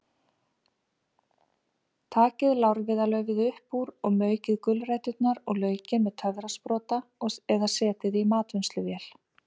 Takið lárviðarlaufið upp úr og maukið gulræturnar og laukinn með töfrasprota eða setjið í matvinnsluvél.